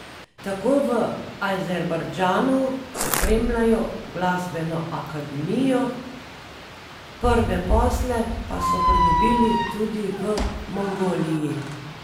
Tako v Azerbajdžanu opremljajo glasbeno akademijo, prve posle pa so pridobili tudi v Mongoliji.